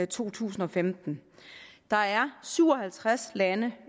to tusind og femten der er syv og halvtreds lande